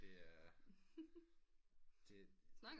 Det er det